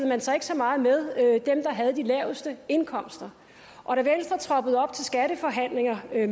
man sig ikke så meget med dem der havde de laveste indkomster og da venstre troppede op til skatteforhandlinger med